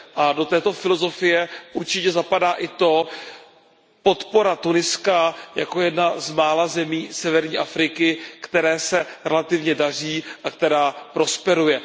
A do této filozofie určitě zapadá i podpora Tuniska jako jedné z mála zemí severní Afriky, které se relativně daří a která prosperuje.